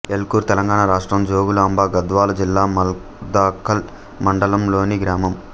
ఎల్కూర్ తెలంగాణ రాష్ట్రం జోగులాంబ గద్వాల జిల్లా మల్దకల్ మండలంలోని గ్రామం